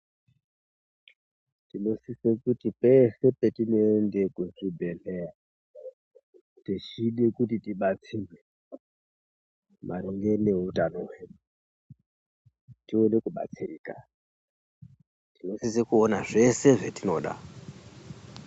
Tinosise kuti pese petinoende kuzvibhedhleya techide kuti tibatsirwe maringe neutano hwedu tione kubatsirika tinosise kuona zvese zvetinoda.